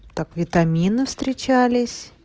так витамины встречались